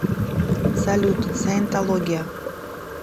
салют саентология